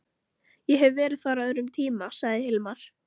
Ég hef verið þar á öðrum tíma, sagði Hilmar.